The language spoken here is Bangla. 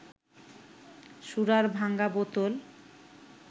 সুরার ভাঙা বোতল